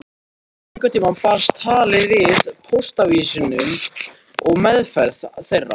Einhvern tíma barst talið að póstávísunum og meðferð þeirra.